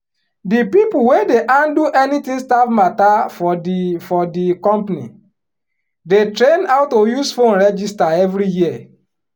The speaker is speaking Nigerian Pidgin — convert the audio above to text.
di people wey dey handle anything staff matter for di for di company dey train on how to use phone register every year